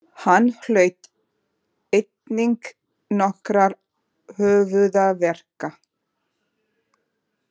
Hann hlaut einnig nokkra höfuðáverka